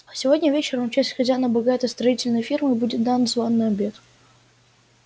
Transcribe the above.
сегодня вечером в честь хозяина богатой строительной фирмы будет дан званый обед